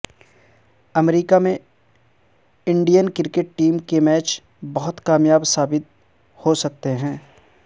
امریکہ میں Indian cricket team کے match بہت کامیاب ثابت ہو سکتے ہیں